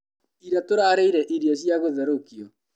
Ira tũrarĩire irio cia gũtherũkio.